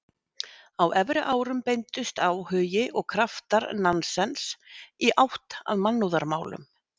Á efri árum beindust áhugi og kraftar Nansens í átt að mannúðarmálum.